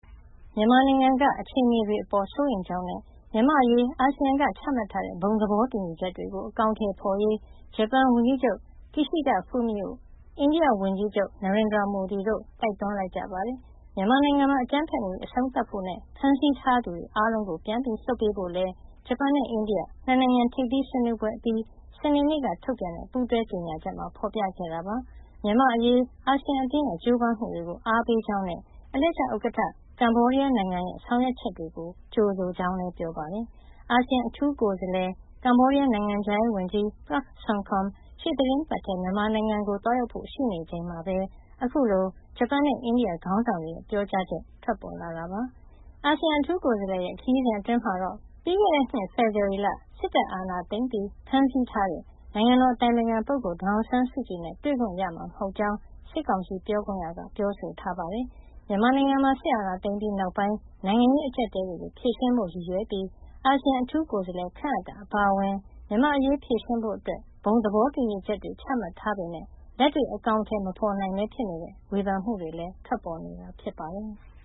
မြန်မာနိုင်ငံက အခြေအနေတွေအပေါ် စိုးရိမ်ကြောင်းနဲ့ မြန်မာ့အရေး အာဆီယံက ချမှတ်ထားတဲ့ ဘုံသဘောတူညီချက်တွေကို အကောင်အထည်ဖော်ရေး ဂျပန်ဝန်ကြီးချုပ် Kishida Fumio နဲ့ အိန္ဒိယဝန်ကြီးချုပ် Narendra Modi တို့က တိုက်တွန်းလိုက်ကြပါတယ်။ မြန်မာနိုင်ငံမှာ အကြမ်းဖက်မှုတွေ အဆုံးသတ်ဖို့နဲ့ ဖမ်းဆီးထားသူတွေ အားလုံးကို ပြန်လွှတ်ပေးဖို့လည်း ဂျပန်နဲ့ အိန္ဒိယ ၂ နိုင်ငံ ထိပ်သီးဆွေးနွေးပွဲအပြီး စနေနေ့က ထုတ်ပြန်တဲ့ ပူးတွဲကြေညာချက်မှာ ဖော်ပြခဲ့တာပါ။ မြန်မာ့အရေး အာဆီယံအသင်းရဲ့ ကြိုးပမ်းမှုတွေကို အားပေးကြောင်းနဲ့ အလှည့်ကျဥက္ကဋ္ဌ ကမ္ဘောဒီးယားနိုင်ငံရဲ့ ဆောင်ရွက်ချက်တွေကို ကြိုဆိုကြောင်းလည်း ပြောပါတယ်။ အာဆီယံ အထူးကိုယ်စားလှယ် ကမ္ဘောဒီးယား နိုင်ငံခြားရေးဝန်ကြီး Prak Sokhonn ရှေ့သီတင်းပတ်ထဲ မြန်မာနိုင်ငံကို သွားရောက်ဖို့ ရှိနေချိန်မှာပဲ အခုလို ဂျပန်နဲ့ အိန္ဒိယ ခေါင်းဆောင်တွေရဲ့ ပြောကြားချက် ထွက်ပေါ်လာတာပါ။ အာဆီယံအထူးကိုယ်စားလှယ်ရဲ့ ခရီးစဉ်အတွင်းမှာတော့ ပြီးခဲ့တဲ့နှစ် ဖေဖော်ဝါရီလ စစ်အာဏာသိမ်းပြီး ဖမ်းဆီးထားတဲ့ နိုင်ငံတော်အတိုင်ပင်ခံပုဂ္ဂိုလ် ဒေါ်အောင်ဆန်းစုကြည်နဲ့ တွေ့ခွင့်ရမှာ မဟုတ်ကြောင်း စစ်ကောင်စီပြောခွင့်ရက ပြောဆိုထားပါတယ်။ မြန်မာနိုင်ငံမှာ စစ်အာဏာသိမ်းပြီးနောက်ပိုင်း နိုင်ငံရေး အကျပ်အတည်းတွေကို ဖြေရှင်းဖို့ ရည်ရွယ်ပြီး အာဆီယံ အထူးကိုယ်စားလှယ် ခန့်အပ်တာ အပါအဝင် မြန်မာ့အရေး ဖြေရှင်းဖို့ ဘုံသဘောတူညီချက်တွေ ချမှတ်ထားပေမယ့် လက်တွေ့ အကောင်အထည် မဖော်နိုင်ဘဲ ဖြစ်နေတဲ့အပေါ် ဝေဖန်မှုတွေလည်း ထွက်ပေါ်နေတာ ဖြစ်ပါတယ်။